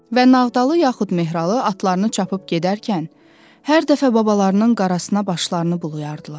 Və Nağdalı yaxud Mehralı atlarını çapıb gedərkən, hər dəfə babalarının qarasına başlarını bulayardılar.